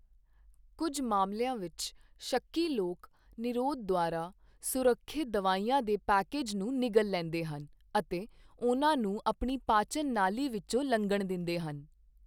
ਕੁੱਝ ਮਾਮਲਿਆਂ ਵਿੱਚ, ਸ਼ੱਕੀ ਲੋਕ ਨਿਰੋਧ ਦੁਆਰਾ ਸੁਰੱਖਿਅਤ ਦਵਾਈਆਂ ਦੇ ਪੈਕੇਜ ਨੂੰ ਨਿਗਲ ਲੈਂਦੇ ਹਨ ਅਤੇ ਉਹਨਾਂ ਨੂੰ ਆਪਣੀ ਪਾਚਨ ਨਾਲੀ ਵਿੱਚੋਂ ਲੰਘਣ ਦਿੰਦੇ ਹਨ।